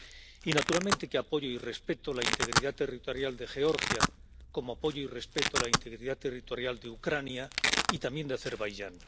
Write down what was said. Y naturalmente que apoyo y respeto la integridad territorial de Georgia, como apoyo y respeto a la integridad territorial de Ucrania y también de Azerbaiyán.